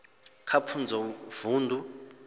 kha pfunzo kha vundu